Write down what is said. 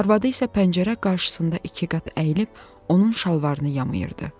Arvadı isə pəncərə qarşısında ikiqat əyilib onun şalvarını yamayırdı.